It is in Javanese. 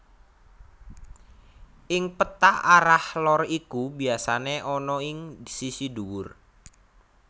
Ing péta arah lor iku biasane ana ing sisi dhuwur